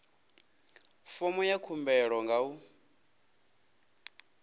fomo ya khumbelo nga u